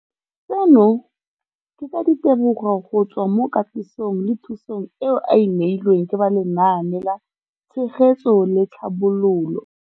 Seno ke ka ditebogo go tswa mo katisong le thu song eo a e neilweng ke ba Lenaane la Tshegetso le Tlhabololo ya.